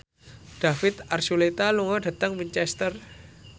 David Archuletta lunga dhateng Winchester